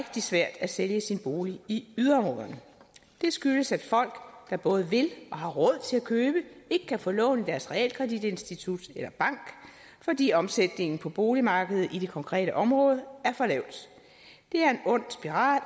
svært at sælge sin bolig i yderområderne det skyldes at folk der både vil og har råd til at købe ikke kan få lån i deres realkreditinstitut eller bank fordi omsætningen på boligmarkedet i det konkrete område er for lav det er en ond spiral